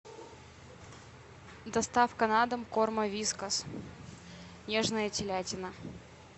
доставка на дом корма вискас нежная телятина